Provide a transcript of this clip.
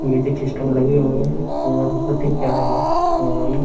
music system लगे हुए हैं और बहुत ही प्यारा घर --